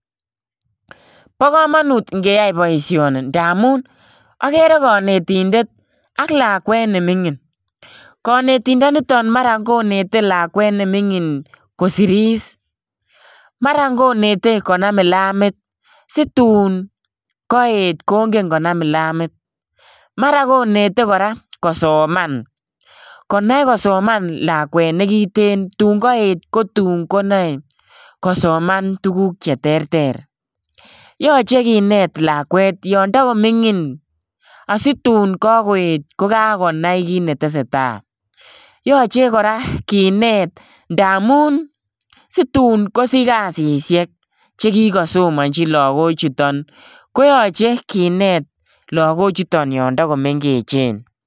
Bo kamanut ingeyai boisioni ndamun agere konetindet ak lakwet ne mingin. Konetindo nito mara konete lakwet ne mingin kosiris. Mara konete konam kilamit situn koet kongen konam kilamit. Mara konete kora kosoman. Konai kosoman lakwet nekiten tun kaet ko tun ko nae kosoman tuguk cheterter. Yache kinet lakwet yon tagomingin asitun kagoet ko kagonai kit netesetai. Yoche kora kinet ndamun situn kosich kasisiek che kigasomanchi lagochuton koyache kinet lagochuton yon tagomengechen.